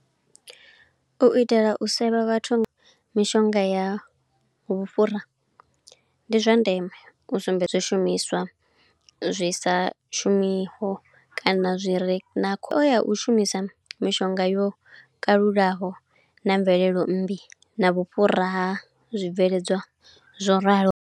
U itela u sevha vhathu mishonga ya vhufhura, ndi zwa ndeme u sumbedza zwishumiswa zwi sa shumiho, kana zwi re na khoya. U shumisa mishonga yo kalulaho na mvelelo mmbi, na vhufhura ha zwibveledzwa zwo ralo.